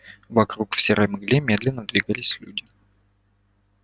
вокруг в серой мгле медленно двигались люди